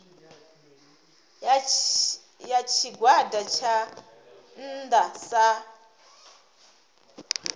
ya tshigwada tsha nnda sa